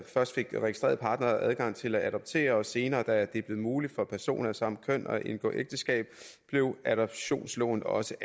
først fik registrerede partnere adgang til at adoptere og senere da det blev muligt for personer af samme køn at indgå ægteskab blev adoptionsloven også